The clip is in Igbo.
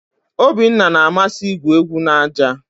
Obinna na-amasị igwu egwu na aja.